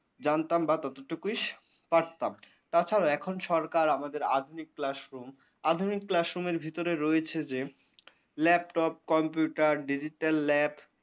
জানতাম না ততটুকুই পারতাম তাছাড়া এখন সরকার আমাদের আধুনিক classroom আধুনিক classroom ভিতরে রয়েছে যে laptop, computer, digital lab ।